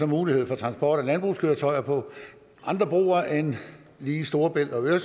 mulighed for transport af landbrugskøretøjer på andre broer end lige storebæltsbroen